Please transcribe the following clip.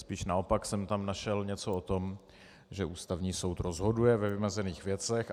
Spíš naopak jsem tam našel něco o tom, že Ústavní soud rozhoduje ve vymezených věcech.